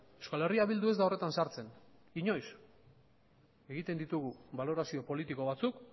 euskal herria bildu ez da horretan sartzen inoiz egiten ditugu balorazio politiko batzuk